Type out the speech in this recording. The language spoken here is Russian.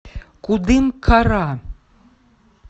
кудымкара